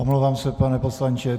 Omlouvám se, pane poslanče.